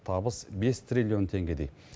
табыс бес триллион теңгедей